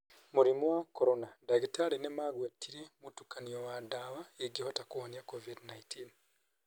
Mũrimũ wa Corona: Ndagĩtarĩ nĩ magwetire mũtukanio wa ndawa ingehota kũhonia COVID-19.